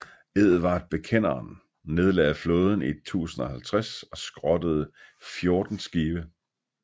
Edvard Bekenderen nedlagde flåden i 1050 og skrottede 14 skibe